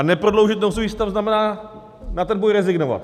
A neprodloužit nouzový stav znamená na ten boj rezignovat.